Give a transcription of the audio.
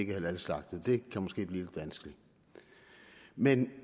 er halalslagtet kan måske blive lidt vanskeligt men